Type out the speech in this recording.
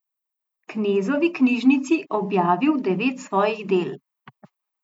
Knezovi knjižnici objavil devet svojih del.